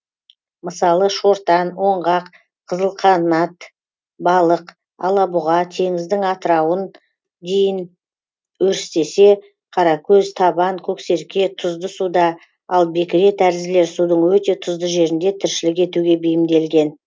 мысалы шортан оңғақ қызылқанат балық алабұға теңіздің дейін өрістесе қаракөз табан көксерке тұзды суда ал бекіре тәрізділер судың өте тұзды жерінде тіршілік етуге бейімделген